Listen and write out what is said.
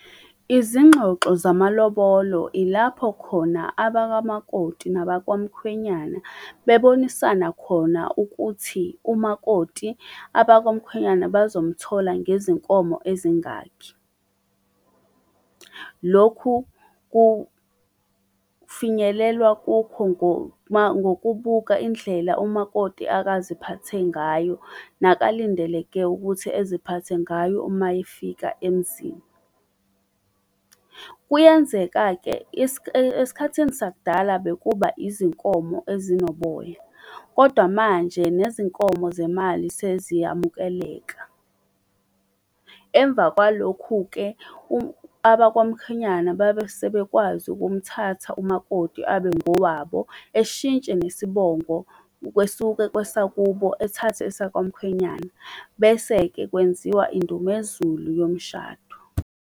Izingxoxo zamalobolo ilapho khona abakamakoti nabakwamkhwenyana bebonisana khona ukuthi umakoti abakwamkhwenyana bazomuthola ngezinkomo ezingakhi. Lokhu kufinyelelwa kukho ngokubuka indlela umakoti akaziphathe ngayo nakalindeleke ukuthi eziphathe ngayo uma yefika emzini. Kuyenzeka-ke esikhathini sakudala bekuba izinkomo ezinoboya, kodwa manje nezinkomo zemali seziyamukeleka. Emva kwalokhu-ke abakwamkhwenyana babesebekwazi ukumthatha umakoti abe ngowabo, eshintshe nesibongo kwesuke kwesakubo ethathe esakwamkhwenyana bese-ke kwenziwa indumezulu yomshado.